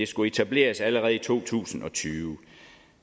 skulle etableres allerede i to tusind og tyve